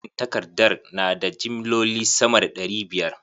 Jerin takardar na da jimloli sama da ɗari biyar?